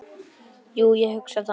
Jú, ég hugsa það nú.